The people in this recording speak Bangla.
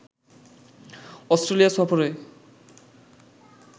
অস্ট্রেলিয়া সফরে